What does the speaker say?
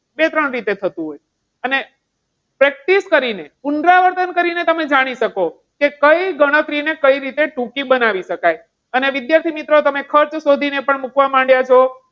તે ત્રણ રીતે થતું હોય છે અને practice કરીને પુનરાવર્તન કરીને તમે જાણી શકો કે કઈ ગણતરી ને કઈ રીતે ટૂંકી બનાવી શકાય. અને વિદ્યાર્થી મિત્રો તમે ખર્ચ શોધીને પણ મૂકવા માંડ્યા છો.